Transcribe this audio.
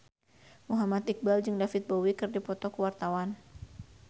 Muhammad Iqbal jeung David Bowie keur dipoto ku wartawan